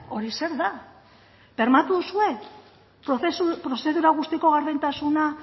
hori zer da bermatu duzue prozedura guztiko gardentasuna